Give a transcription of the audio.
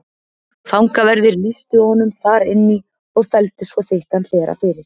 Fangaverðir lýstu honum þar inn í og felldu svo þykkan hlera fyrir.